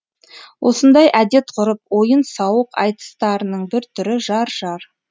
осындай әдет ғұрып ойын сауық айтыстарының бір түрі жар жар